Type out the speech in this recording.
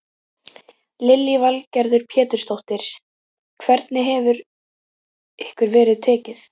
Lillý Valgerður Pétursdóttir: Hvernig hefur ykkur verið tekið?